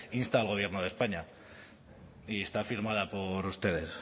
insta al gobierno de españa y está firmada por ustedes